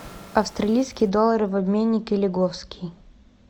австралийский доллар в обменнике лиговский